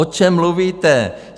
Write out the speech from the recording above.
O čem mluvíte?